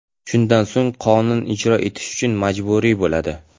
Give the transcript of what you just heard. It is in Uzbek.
Shundan so‘ng qonun ijro etish uchun majburiy bo‘ladi.